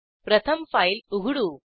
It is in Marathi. प्रथम फाईल उघडू